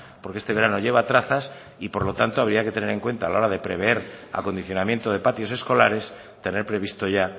porque este verano lleva trazas y por lo tanto habría que tener en cuenta a la hora de prever acondicionamiento de patios escolares tener previsto ya